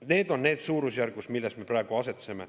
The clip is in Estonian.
Need on need suurusjärgud, milles me praegu asetseme.